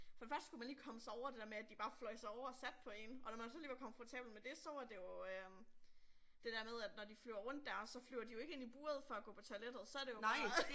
For det første skulle man lige komme sig over det der med at de bare fløj sig over og satte på én og når man så lige var komfortabel med det så var det jo øh det der med at når de flyver rundt der så flyver de jo ikke ind i buret for at gå på toilettet så det jo bare